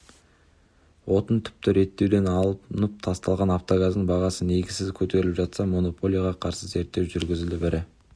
отын тіпті реттеуден алынып тасталған автогаздың бағасы негізсіз көтеріліп жатса монополияға қарсы зерттеу жүргізіліп ірі